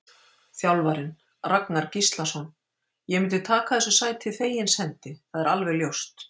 Þjálfarinn: Ragnar Gíslason: Ég myndi taka þessu sæti fegins hendi, það er alveg ljóst.